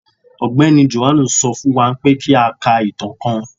Ọgbẹni Jòhánù sọ fún wá pé kí à ká ìtàn kán